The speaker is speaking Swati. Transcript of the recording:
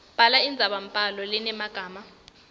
bhala indzabambhalo lenemagama